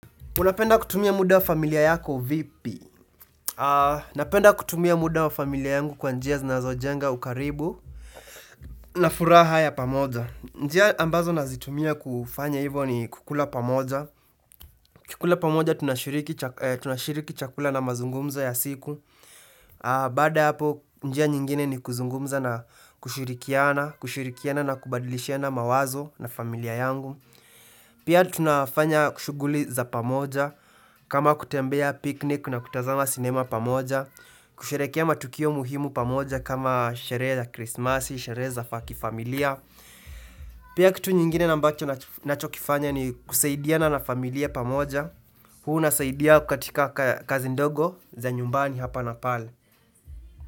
Unapenda kutumia muda wa familia yako vipi? Napenda kutumia muda wa familia yangu kwa njia zinazo jenga ukaribu na furaha ya pamoja. Njia ambazo nazitumia kufanya hivo ni kukula pamoja. Kukula pamoja tunashiriki chakula na mazungumzo ya siku. Baada hapo njia nyingine ni kuzungumza na kushirikiana na kubadilishiana mawazo na familia yangu. Pia tunafanya kushuguli za pamoja, kama kutembea piknik na kutazama sinema pamoja, kusherekea matukio muhimu pamoja kama sherehe za krismasi, sherehe za fakifamilia. Pia kitu nyingine nambacho na chokifanya ni kusaidia na nafamilia pamoja, huu nasaidia kukatika kazi ndogo za nyumbani hapa na pale.